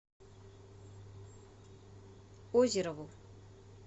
озерову